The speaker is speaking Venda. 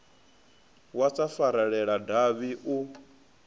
wa sa farelela davhi u